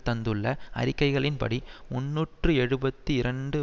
தந்துள்ள அறிக்கைகளின்படி முன்னூற்று எழுபத்து இரண்டு